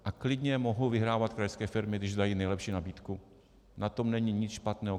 A klidně mohou vyhrávat krajské firmy, když dají nejlepší nabídku, na tom není nic špatného.